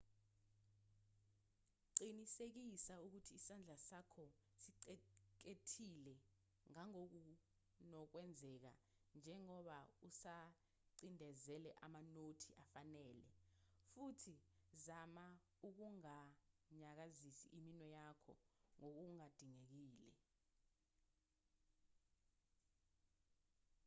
qinisekisa ukuthi isandla sakho sixhekethile ngangokunokwenzeka njengoba usacindezela amanothi afanele futhi zama ukunganyakazisi iminwe yakho ngokungadingekile